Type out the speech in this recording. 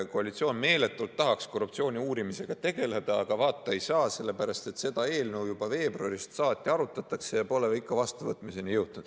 Koalitsioon meeletult tahaks korruptsiooni uurimisega tegeleda, aga vaata, ei saa, sellepärast et seda eelnõu juba veebruarist saati arutatakse, aga pole ikka vastuvõtmiseni jõutud.